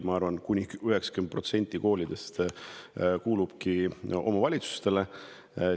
Ma arvan, et 90% koolidest kuulub omavalitsustele.